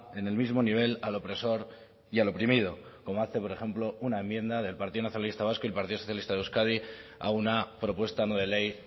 en el mismo nivel al opresor y al oprimido como hace por ejemplo una enmienda del partido nacionalista vasco y el partido socialista de euskadi a una propuesta no de ley